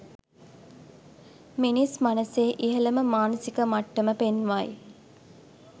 මිනිස් මනසේ ඉහළම මානසික මට්ටම පෙන්වයි.